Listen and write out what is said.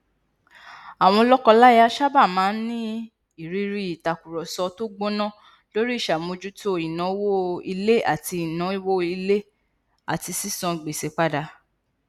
àwọn lọkọláya sábà máa n ní ìrírí ìtàkurọsọ tó gbóná lórí ìṣàmójútó ìnáwó ilé àti ìnáwó ilé àti sísan gbèsè padà